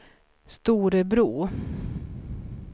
Storebro